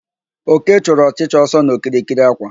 Oke chụrụ ọchịcha ọsọ n'okirikiri àkwà